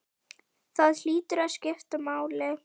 Það hlýtur að skipta máli?